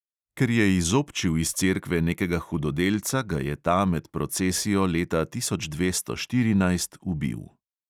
Ker je izobčil iz cerkve nekega hudodelca, ga je ta med procesijo leta tisoč dvesto štirinajst ubil.